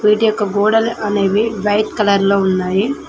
వీటి ఒక్క గోడలనేవి వైట్ కలర్ లో ఉన్నాయి.